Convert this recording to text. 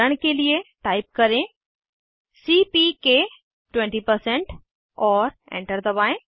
उदाहरण के लिए टाइप करें सीपीके 20 और एंटर दबाएं